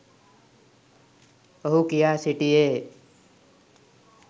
ඔහු කියා සිටියේය.